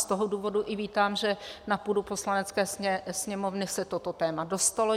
Z toho důvodu i vítám, že na půdu Poslanecké sněmovny se toto téma dostalo.